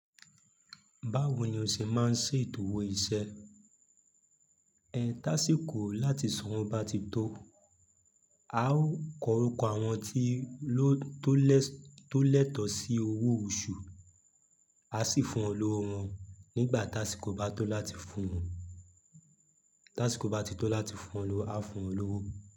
Báwo ni o ṣe máa ń ṣe ìtòwò iṣẹ́? Ẹ, táṣíko láti san owó bá ti tó. A ó kọ orúkọ àwọn tí ló tó lẹ tó lẹ́tọ̀ sí owó oṣù. A sì fún wọn lọ́wọ́ wọn nígbà táṣíko bá tó láti fún wọn. Táṣíko bá ti tó láti fún wọn lọ́wọ́, a fún wọn lówó.